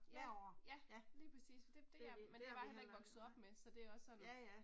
Ja, ja, lige præcis, men det det men det er jeg bare heller ikke vokset op med så det er også sådan